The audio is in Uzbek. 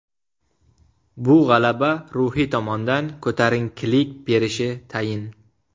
Bu g‘alaba ruhiy tomondan ko‘tarinkilik berishi tayin.